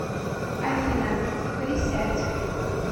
афина присядь